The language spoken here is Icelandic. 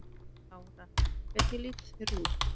Lára: Hvernig litu þeir út?